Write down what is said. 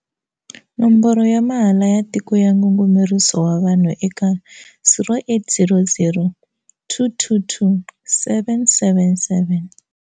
Nomboro ya mahala ya Tiko ya Ngungumeriso wa Vanhu eka- 0800 222 777.